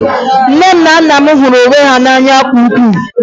Nne m na nna m hụrụ onwe ha n'anya nke ukwuu